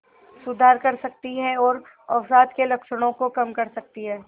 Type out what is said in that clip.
सुधार कर सकती है और अवसाद के लक्षणों को कम कर सकती है